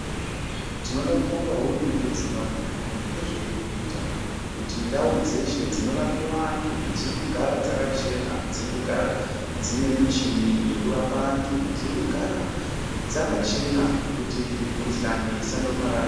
Tinoda kubonga hurumende yeZimbabwe maningi ngezveirikuita kuti ndau dzeshe dzinorapiwa antu dziri kugara dzakachena, dziri kugara dzine michini yokurapa antu, dziri kugara dzakachena kuti mikuhlani isandopararira.